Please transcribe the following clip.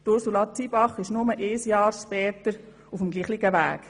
Ursula Zybach ist nur ein Jahr später auf demselben Weg.